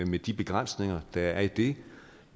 med de begrænsninger der er i det